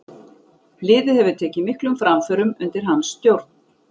Liðið hefur tekið miklum framförum undir hans stjórn.